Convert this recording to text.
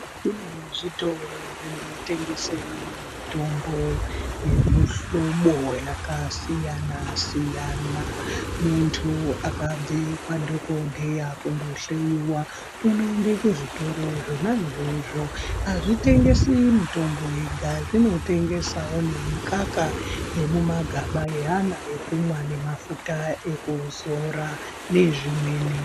Kune zvitoro zvinotengese mitombo yemuhlobo vakasiyana-siyana. Muntu akabve kwadhogodheya kundohloiwa unoenda kuzvitoro zvona izvozvo. Hazvitengesi mitombo yega zvinotengesa nemikaka yemumagaba yeana yekumwa nemafuta ekuzora nezvimweni.